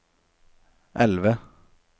elve